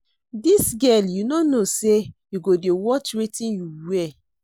Dis girl you no know say you go dey watch wetin you wear